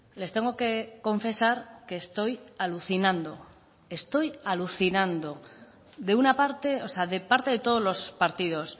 les tengo que confesar que estoy alucinando estoy alucinando de una parte o sea de parte de todos los partidos